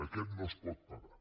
aquest no és pot pagar